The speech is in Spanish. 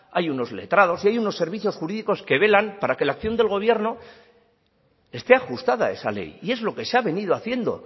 hay unos letrados y hay unos servicios jurídicos que velan para que la acción del gobierno esté ajustada a esa ley y es lo que se ha venido haciendo